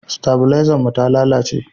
stabilezan mu ta lalace